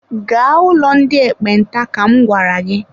Gaa ụlọ ndị ekpenta ka m gwara gị!